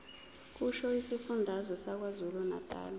kusho isifundazwe sakwazulunatali